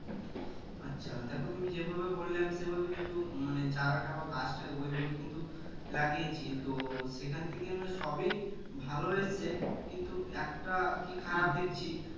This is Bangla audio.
আচ্ছা দেখো তুমি যে ভাবে বললে আমি সে ভাবে কিন্তু মানে চারাটা বা গাছটা ওই ভাবে কিন্তু লাগিয়েছি তো সেখান থেকে মনে হয় সবই ভালো হয়েছে কিন্তু একটা কি দেখছি